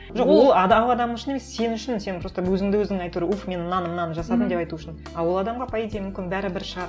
жоқ ол адам үшін емес сен үшін сен просто өзіңді өзің әйтеуір уф мен мынаны мынаны жасадым деп айту үшін а ол адамға по идее мүмкін бәрібір шығар